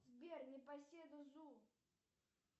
сбер непоседу зу